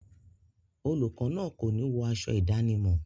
Olùkọ náà kòní wọ aṣọ ìdánimọ̀.